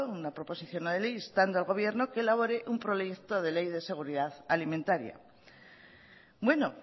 una proposición no de ley instando al gobierno que elabore un proyecto de ley de seguridad alimentaría bueno